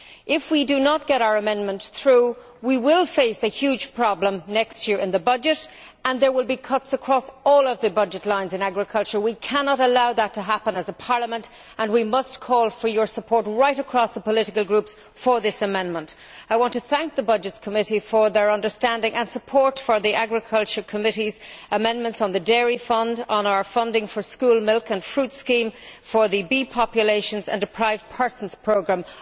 If we do not get our amendment through, we will face a huge problem next year in the budget and there will be cuts across all of the budget lines in agriculture. We cannot allow that to happen as a Parliament and we must call for your support right across the political groups for this amendment. I want to thank the Committee on Budgets for their understanding and support for the Agriculture Committee's amendments on the Dairy Fund, on our funding for the school milk and fruit scheme, for the bee populations, and the deprived persons programme.